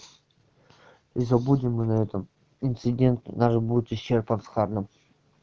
забудем и на этом инцидент наш будет исчерпан с харном